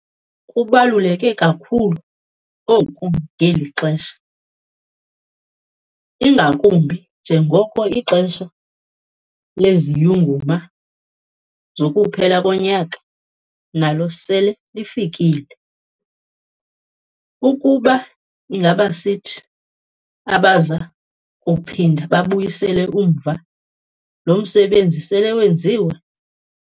Kubaluleke kakhulu oku ngeli xhesa, ingakumbi njengoko ixesha leziyunguma zokuphela konyaka nalo sele lifikile, ukuba ingabisithi abaza kuphinda babuyisele umva lo msebenzi sele wenziwe.